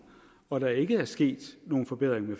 og der ikke er sket nogen forbedring af